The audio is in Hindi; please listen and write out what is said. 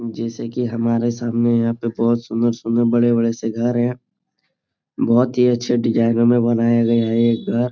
जैसे की हमारे सामने यहाँ पे बहुत सुन्दर-सुन्दर बड़े-बड़े से घर हैं । बहुत ही अच्छे डिज़ाइनो में बनाए गए है ये घर ।